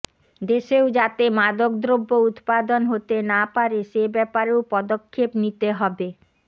দেশেও যাতে মাদকদ্রব্য উৎপাদন হতে না পারে সে ব্যাপারেও পদক্ষেপ নিতে হবে